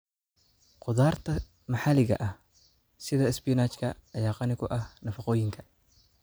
Khudaarta maxaliga ah sida isbinaajka ayaa qani ku ah nafaqooyinka.